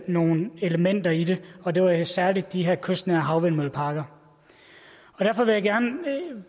nogle elementer i det her og det var særlig de her kystnære havvindmølleparker derfor vil jeg gerne